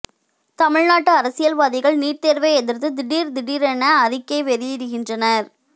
தமிழ்நாட்டு அரசியல்வாதிகள் நீட் தோ்வை எதிா்த்து திடீா் திடீரென அறிக்கை வெளியிடுகின்றனா்